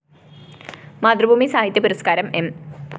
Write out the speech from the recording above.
മാതൃഭൂമി സാഹിത്യ പുരസ്‌ക്കാരം എം